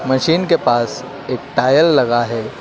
Machine के पास एक टॉयल लगा है।